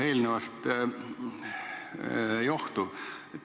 Eelnevast johtuv.